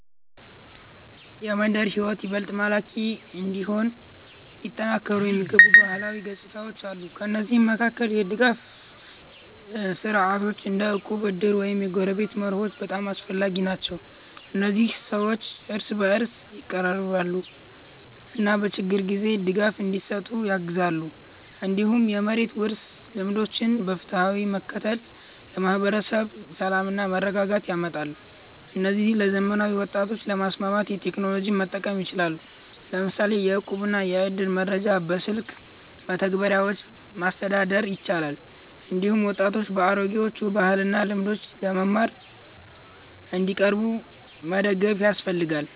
የመንደር ሕይወት ይበልጥ ማራኪ እንዲሆን ሊጠናከሩ የሚገቡ ባህላዊ ገጽታዎች አሉ። ከእነዚህ መካከል የጋራ ድጋፍ ስርዓቶች እንደ እቁብ፣ እድር እና የጎረቤትነት መርሆች በጣም አስፈላጊ ናቸው። እነዚህ ሰዎችን እርስ በእርስ ያቀራርባሉ እና በችግር ጊዜ ድጋፍ እንዲሰጡ ያግዛሉ። እንዲሁም የመሬት ውርስ ልምዶችን በፍትሃዊነት መከተል ለማህበረሰብ ሰላምና መረጋጋት ያመጣል። እነዚህን ለዘመናዊ ወጣቶች ለማስማማት ቴክኖሎጂን መጠቀም ይቻላል፤ ለምሳሌ የእቁብና የእድር መረጃ በስልክ መተግበሪያዎች ማስተዳደር ይቻላል። እንዲሁም ወጣቶች ከአሮጌዎቹ ባህልና ልምዶች ለመማር እንዲቀርቡ መደገፍ ያስፈልጋል። ይህ ባህልን እንዲጠብቁ ብቻ ሳይሆን ከዘመናዊ ሕይወት ጋር እንዲያጣጣሙት ያግዛል። በዚህ መንገድ የመንደር ሕይወት ይበልጥ ይስባል እና ለወጣቶችም ተመጣጣኝ ይሆናል።